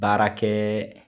Baarakɛɛ